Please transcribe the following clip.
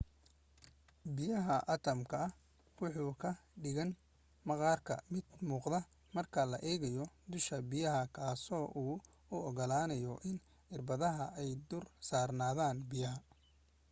biyaha atamka wuxuu ka dhigan maqaarka mid muuqda marka la eego dusha biyaha kaas oo u ogolaanyo in irbadaha ay dul saarnaadan biyaha